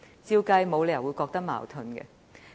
我們沒理由會覺得有矛盾。